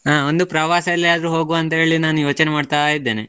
ಹಾ ಒಂದು ಪ್ರವಾಸ ಎಲ್ಲಿಯಾದ್ರೂ ಹೋಗುವಂತ ಹೇಳಿ ನಾನು ಯೋಚನೆ ಮಾಡ್ತಾ ಇದ್ದೇನೆ.